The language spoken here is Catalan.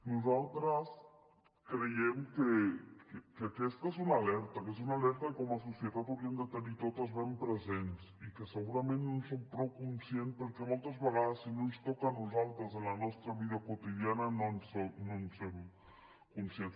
nosaltres creiem que aquesta és una alerta que és una alerta que com a societat hauríem de tenir totes ben presents i que segurament no en som prou conscients perquè moltes vegades si no ens toca a nosaltres en la nostra vida quotidiana no en som conscients